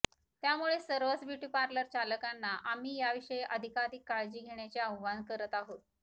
त्यामुळे सर्वच ब्युटीपार्लरचालकांना आम्ही याविषयी अधिकाधिक काळजी घेण्याचे आवाहन करत आहोत